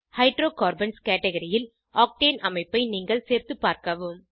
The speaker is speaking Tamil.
ஹைட்ரோகார்பன்ஸ் கேட்கரி ல் ஆக்டேன் ஆக்டேன் அமைப்பை நீங்களே சேர்த்து பார்க்கவும்